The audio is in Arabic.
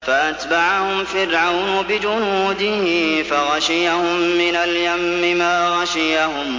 فَأَتْبَعَهُمْ فِرْعَوْنُ بِجُنُودِهِ فَغَشِيَهُم مِّنَ الْيَمِّ مَا غَشِيَهُمْ